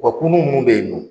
Wa kunun munnu bɛ yen nɔ.